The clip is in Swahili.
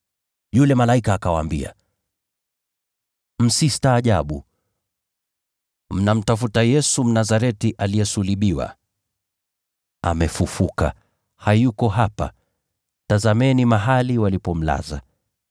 Yule malaika akawaambia, “Msistaajabu. Mnamtafuta Yesu, Mnazareti, aliyesulubiwa. Amefufuka! Hayuko hapa. Tazameni mahali walipomlaza.